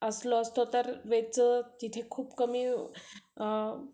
असलो असतो तर वेदचं तिथं